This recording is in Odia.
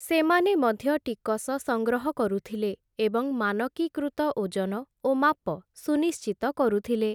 ସେମାନେ ମଧ୍ୟ ଟିକସ ସଂଗ୍ରହ କରୁଥିଲେ ଏବଂ ମାନକୀକୃତ ଓଜନ ଓ ମାପ ସୁନିଶ୍ଚିତ କରୁଥିଲେ ।